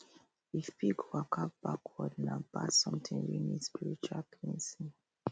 if pig waka backward nah bad something wey need spiritual cleansing